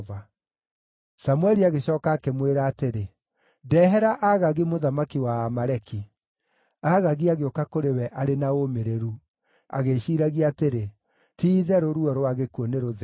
Samũeli agĩcooka akĩmwĩra atĩrĩ, “Ndehera Agagi mũthamaki wa Aamaleki.” Agagi agĩũka kũrĩ we arĩ na ũmĩrĩru, agĩĩciiragia atĩrĩ, “Ti-itherũ ruo rwa gĩkuũ nĩrũthengu.”